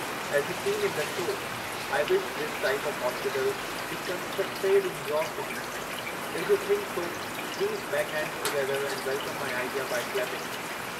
As you seen in the show, I wish this type of hospital be constructed in your city, if you think so please make hands together and welcome my idea by clapping.